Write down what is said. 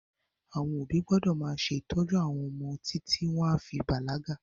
Àwọn òbí gbọ́dọ̀ máa ṣe ìtọ́jú àwọn ọmọ títí wọn a fi bàlágà